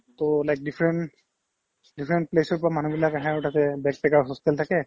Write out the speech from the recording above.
to like different different place ৰ পৰা মানুহবিলাক আহে আৰু তাতে bachelor hostel থাকে